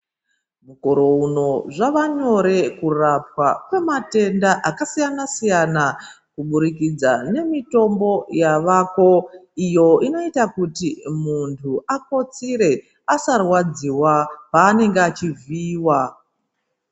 Mukore uno zvava nyore kurapwa kwema tenda aka siyana siyana kubudikidza nemitombo yavako iyo inoita kuti munhu akotsire asa rwadziwa paanenge achi vhiiwa.